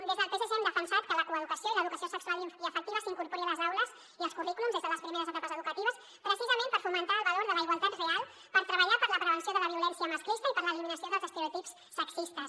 des del psc hem defensat que la coeducació i l’educació sexual i afectiva s’in·corpori a les aules i als currículums des de les primeres etapes educatives preci·sament per fomentar el valor de la igualtat real per treballar per la prevenció de la violència masclista i per l’eliminació dels estereotips sexistes